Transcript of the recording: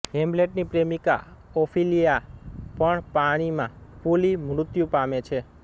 હેમ્લેટની પ્રેમિકા ઓફિલિયાા પણ પાણીમાં ફૂલી મૃત્યુ પામે છે